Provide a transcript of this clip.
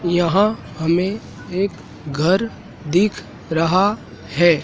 यहाँ हमें एक घर दिख रहा है।